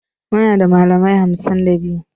Muna da malamai hamsin da biyu